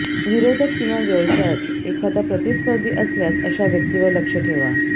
विरोधक किंवा व्यवसायात एखादा प्रतिस्पर्धी असल्यास अशा व्यक्तीवर लक्ष ठेवा